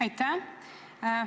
Aitäh!